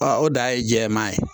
o dan ye jɛman ye